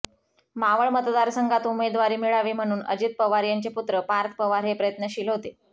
मावळ मतदारसंघातून उमेदवारी मिळावी म्हणून अजित पवार यांचे पुत्र पार्थ पवार हे प्रयत्नशील होते